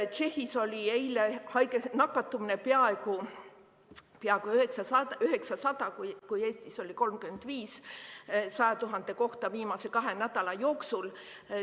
Tšehhis oli eile nakatumine peaaegu 900, Eestis 35 nakatunut 100 000 kohta viimase kahe nädala jooksul.